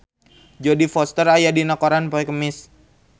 Jodie Foster aya dina koran poe Kemis